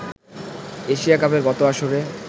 Asia কাপের গত আসরে